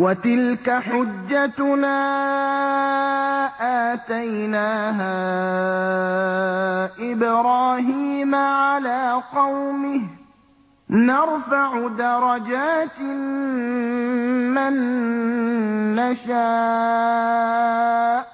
وَتِلْكَ حُجَّتُنَا آتَيْنَاهَا إِبْرَاهِيمَ عَلَىٰ قَوْمِهِ ۚ نَرْفَعُ دَرَجَاتٍ مَّن نَّشَاءُ ۗ